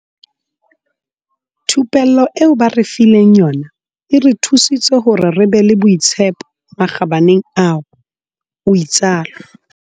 Thupello eo ba re fileng yona e re thusitse hore re be le boitshepo makgabaneng ao, o itsalo.